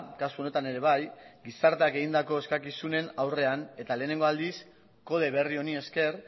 kasu honetan ere bai gizarteak egindako eskakizunen aurrean eta lehenengo aldiz kode berri honi esker